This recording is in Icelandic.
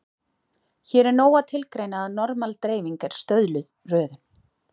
Hér er nóg að tilgreina að normal-dreifing er stöðluð röðun.